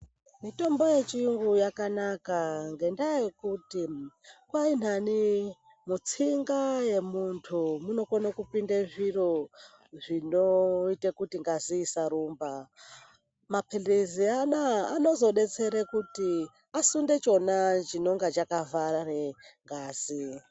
Mitombo yechiyungu yakanaka ngendaa yekuti kwahinani mutsinga yemuntu munokone kupinde zviri zvinoite kuti ngazi isarumba. Maphilizi anozodetsere kuti asunde ichona chinenga chakavhare ngazi.